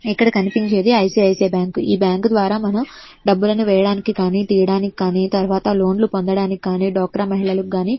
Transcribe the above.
ఇక్కడ కనిపించేది ICICI bank . ఈ బ్యాంకు ద్వారా మనం డబ్బులు వేయడానికి గాని తీయడానికి కానీ డబ్బులు పొందడానికి కానీ డ్వాక్రా మహిళలకు గాని--